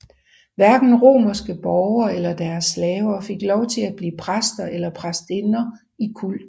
Hverken romerske borgere eller deres slaver fik lov til at blive præster eller præstinder i kulten